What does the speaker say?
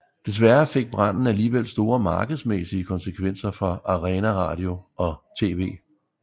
Desværre fik branden alligevel store markedsmæssige konsekvenser for Arena Radio og TV